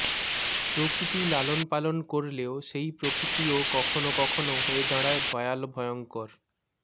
প্রকৃতি লালনপালন করলেও সেই প্রকৃতিও কখনও কখনও হয়ে দাঁড়ায় ভয়াল ভয়ঙ্কর